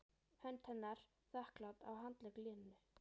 Hönd hennar þakklát á handlegg Lenu.